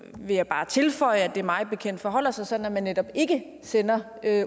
vil jeg bare tilføje at det mig bekendt forholder sig sådan at man netop ikke sender